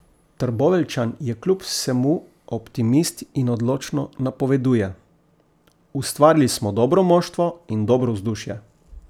Trboveljčan je kljub vsemu optimist in odločno napoveduje: 'Ustvarili smo dobro moštvo in dobro vzdušje.